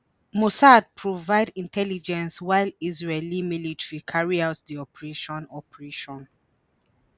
mossad provide intelligence while israeli military carry out di operation. operation.